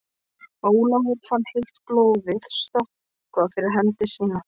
Ólafur fann heitt blóðið stökkva yfir hendi sína.